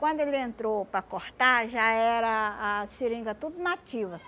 Quando ele entrou para cortar, já era a seringa tudo nativ